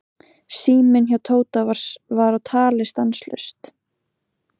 Síminn hjá Tóta var á tali stanslaust.